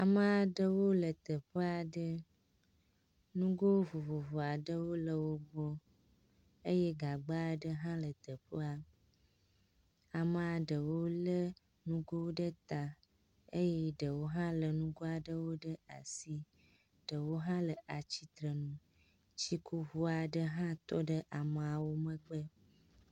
Ame aɖewo le teƒe aɖe. Ŋgo vovovo aɖewo le wo gbɔ eye gagba aɖe hã le teƒea. Amea ɖewo lé ŋgo ɖe ta eye ɖewo hã lé ŋgoa ɖe asi. Ɖewo hã le atsitre nu. Tsikuŋu aɖe hã tɔ ɖe ameawo megbe.